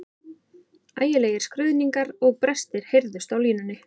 Ægilegir skruðningar og brestir heyrðust á línunni.